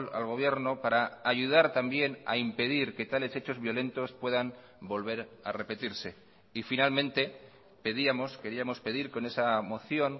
al gobierno para ayudar también a impedir que tales hechos violentos puedan volver a repetirse y finalmente pedíamos queríamos pedir con esa moción